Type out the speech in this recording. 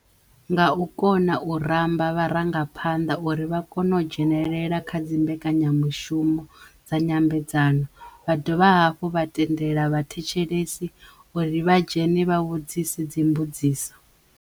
Nga u kona u ramba vharangaphanḓa uri vha kono u dzhenelela kha dzi mbekanyamushumo dza nyambedzano vha dovha hafhu vha tendela vhathetshelesi uri vha dzhene vha vhudzise dzi mbudziso.